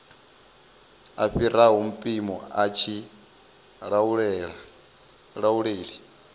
fhiraho mpimo a tshi lauleli